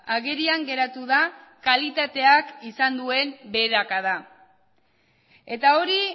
agerian geratu da kalitateak izan duen beherakada eta hori